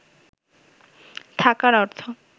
থাকার অর্থ